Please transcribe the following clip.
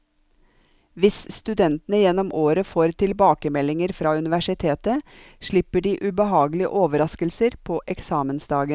Hvis studentene gjennom året får tilbakemeldinger fra universitetet, slipper de ubehagelige overrasker på eksamensdagen.